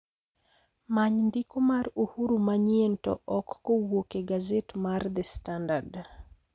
Many ndiko mar uhuru manyien to ok kowuok e gaset mar the standad